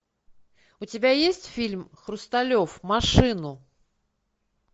у тебя есть фильм хрусталев машину